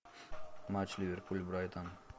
матч ливерпуль брайтон